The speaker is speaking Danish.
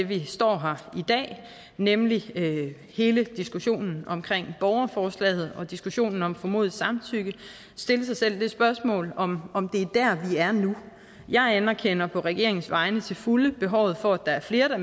vi står her i dag nemlig hele diskussionen om borgerforslaget og diskussionen om formodet samtykke stille sig selv det spørgsmål om om det er der vi er nu jeg anerkender på regeringens vegne til fulde behovet for at der er flere